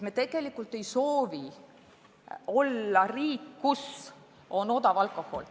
Me tegelikult ei soovi olla riik, kus on odav alkohol.